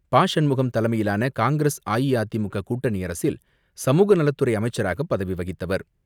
பா.சண்முகம் தலைமையிலான காங்கிரஸ் அஇஅதிமுக கூட்டணி அரசில் சமுகநலத்துறை அமைச்சராக பதவி வகித்தவர்.